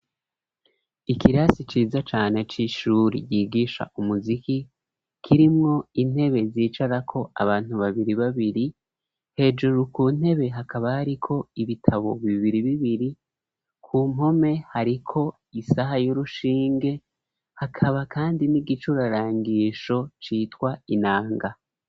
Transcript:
ikirasi ciza cane c'ishuri yigisha umuziki kirimwo intebe zicara ko abantu babiri babiri hejuru ku ntebe hakaba hari ko ibitabo bibiri bibiri ku mpome hari ko isaha y'urushinge hakaba kandi n'igicurarangisho citwa inanga.